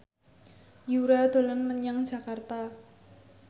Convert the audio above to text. Yura dolan menyang Jakarta